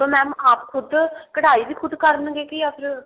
mam ਆਪ ਖੁਦ ਕਢਾਈ ਵੀ ਖੁਦ ਕਰਨਗੇ ਯਾ ਫ਼ੇਰ